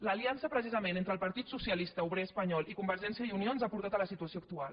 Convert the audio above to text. l’aliança precisament entre el partit socialista obrer espanyol i convergència i unió ens ha portat a la situació actual